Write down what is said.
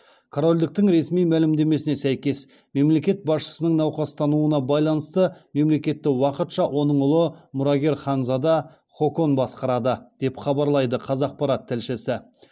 корольдіктің ресми мәлімдемесіне сәйкес мемлекет басшысының науқастануына байланысты мемлекетті уақытша оның ұлы мұрагер ханзада хокон басқарады деп хабарлайды қазақпарат тілшісі